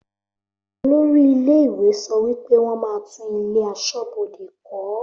Olórí ilé ìwé sọ wípé wọn máa tún ilé aṣọ́bodè kó